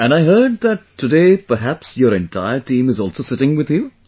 And I heard, that today, perhaps your entire team is also sitting with you